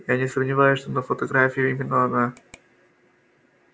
я не сомневаюсь что на фотографии именно она